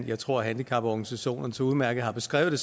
jeg tror handicaporganisationerne så udmærket har beskrevet det